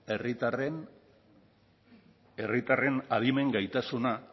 herritarren adimen gaitasuna